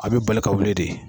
A bɛ bali ka wuli de.